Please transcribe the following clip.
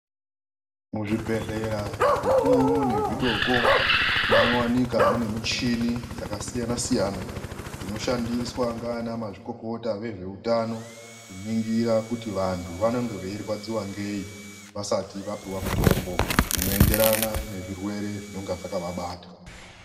Muzvibhedhlera zvikuru ne zvidoko, munowanika mune michhini dzakasiyana-siyana. Dzinoshandiswa ngaana mazvikokota vezveutano, kuningira kuti vanthu vanenge veirwadziwa ngei? Vasati vapuwa mitombo inoenderana nezvirwere zvinonga zvakavabata.